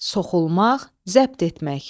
Soxulmaq, zəbt etmək.